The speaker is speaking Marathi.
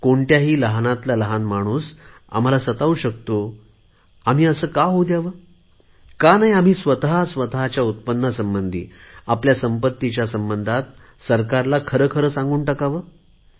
कोणताही लहानातला लहान माणूस आम्हाला सतावू शकतो आम्ही असे कां होऊ द्यावे का नाही आम्ही स्वत स्वतच्या उत्पन्नासंबंधी आपल्या संपत्तीच्या संबंधात सरकारला खरी खरी माहिती द्यावी